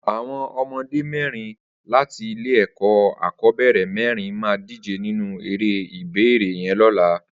Awọn ọmọdé mẹrin làtí ilé ẹkọ akọbẹrẹ mẹrin mà dijé ninú éré ibééré yèn lọ̀là